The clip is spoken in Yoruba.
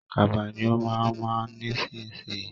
Kaba ni ó ma ma ọ̀ nísinsìnyí